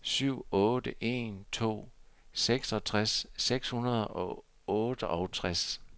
syv otte en to seksogtres seks hundrede og otteogtres